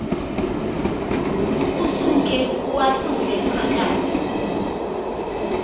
usuke uwahlule phakathi